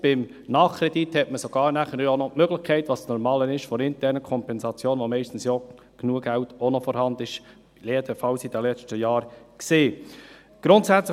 Beim Nachkredit hat man sogar nachher noch die Möglichkeit der internen Kompensation, wofür meist genügend Geld vorhanden ist, jedenfalls war es in den letzten Jahren der Fall.